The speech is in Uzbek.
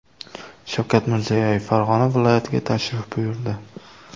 Shavkat Mirziyoyev Farg‘ona viloyatiga tashrif buyurdi .